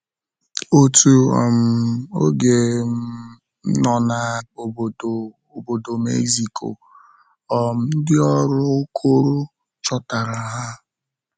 Otu um oge um nọ na Obodo Obodo Mexico, um ndị ọrụ Okoro chọtara ha.